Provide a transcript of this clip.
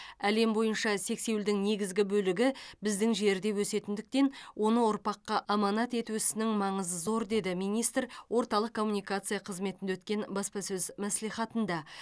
әлем бойынша сексеуілдің негізгі бөлігі біздің жерде өсетіндіктен оны ұрпаққа аманат ету ісінің маңызы зор деді министр орталық коммуникация қызметінде өткен баспасөз мәслихатында